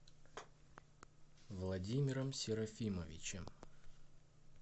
владимиром серафимовичем